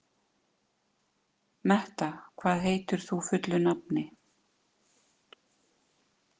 Metta, hvað heitir þú fullu nafni?